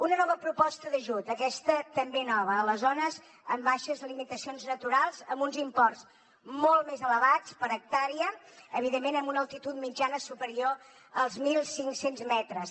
una nova proposta d’ajut aquesta també nova a les zones amb baixes limitacions naturals amb uns imports molt més elevats per hectàrea evidentment amb una altitud mitjana superior als mil cinc cents metres